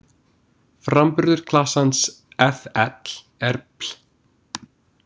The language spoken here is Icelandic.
Framburður klasans-fl- er-bl-.